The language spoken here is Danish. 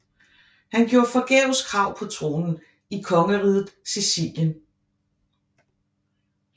Han gjorde forgæves krav på tronen i Kongeriget Sicilien